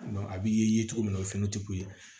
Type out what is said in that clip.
a b'i ye cogo min na o ye fɛn tɛ k'u ye